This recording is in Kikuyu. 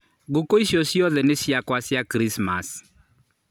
Ngũkũ icio ciothe nĩ ciakwa cia Kiricimaci